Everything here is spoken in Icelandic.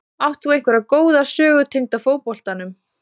Átt þú einhverja góða sögu tengda fótboltanum?